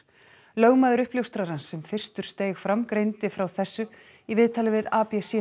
lögmaður uppljóstrarans sem fyrstur steig fram greindi frá þessu í viðtali við